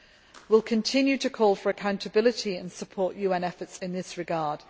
We will continue to call for accountability and support UN efforts in this regard.